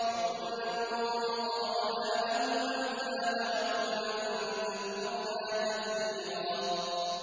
وَكُلًّا ضَرَبْنَا لَهُ الْأَمْثَالَ ۖ وَكُلًّا تَبَّرْنَا تَتْبِيرًا